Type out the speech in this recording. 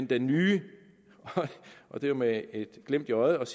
det nye og det er med et glimt i øjet